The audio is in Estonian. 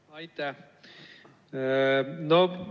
Aitäh!